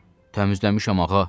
Təmizləmişəm ağa.